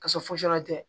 Ka sɔrɔ fosi tɛ